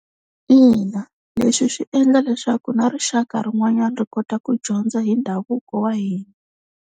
Ina leswi swi endla leswaku na rixaka rin'wanyana ri kota ku dyondza hi ndhavuko wa hina.